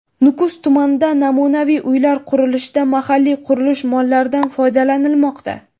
Nukus tumanida namunaviy uylar qurilishida mahalliy qurilish mollaridan foydalanilmoqda.